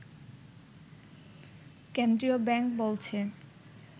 কেন্দ্রীয় ব্যাংক বলছে